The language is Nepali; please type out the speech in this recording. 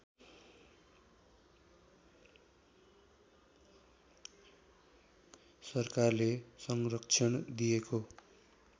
सरकारले संरक्षण दिएको